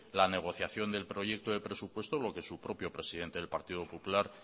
la negociación del proyecto de presupuesto lo que su propio presidente del partido popular